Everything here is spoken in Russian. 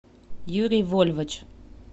юрий вольвач